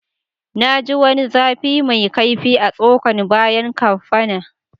Na ji wani zafi mai kaifi a'tsokan bayan kaffa na.